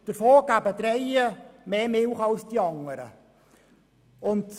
Davon geben drei mehr Milch als die anderen.